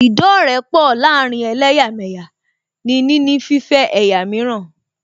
Ìdọ́rẹ̀ẹ́pọ láàárín ẹlẹ́yàmẹ̀yà ní níní fífẹ́ ẹ̀yà mìíràn